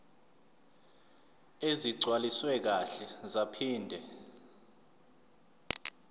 ezigcwaliswe kahle zaphinde